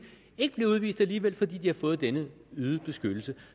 ikke vil blive udvist alligevel fordi de har fået denne øgede beskyttelse